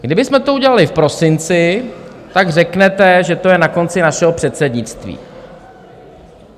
Kdybychom to udělali v prosinci, tak řeknete, že to je na konci našeho předsednictví.